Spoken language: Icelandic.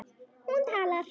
Hún talar.